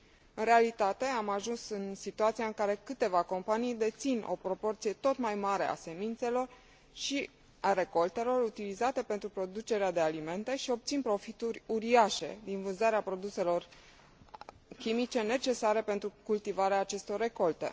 În realitate, am ajuns în situația în care câteva companii dețin o proporție tot mai mare a semințelor și a recoltelor utilizate pentru producerea de alimente și obțin profituri uriașe din vânzarea produselor chimice necesare pentru cultivarea acestor recolte.